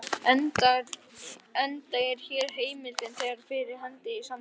enda er hér heimildin þegar fyrir hendi í samþykktunum.